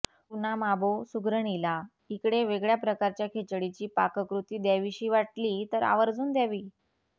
कुणा माबो सुगरणीला इकडे वेगळ्या प्रकारच्या खिचडीची पाककृती द्यावीशी वाटली तर आवर्जून द्यावी